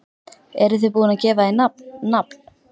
Eruð þið búin að gefa því nafn, nafn?